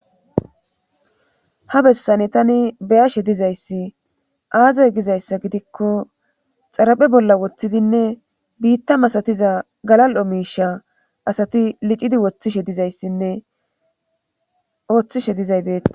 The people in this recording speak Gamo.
Ha bessani tani be7ashe dizyssi aaze gizayssa gidikko xaraphe bolla wothidinne biitta masatiza galal7o miisha asati licidi wothishe dizayssinne ooyhishe dizay beette